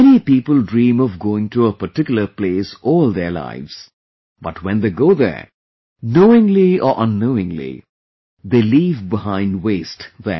Many people dream of going to a particular place all their lives... but when they go there, knowingly or unknowingly, they leave behind waste there